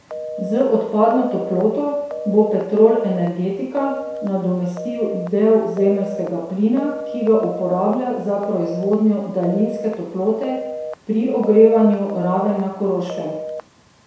Z odpadno toploto bo Petrol Energetika nadomestil del zemeljskega plina, ki ga uporablja za proizvodnjo daljinske toplote pri ogrevanju Raven na Koroškem.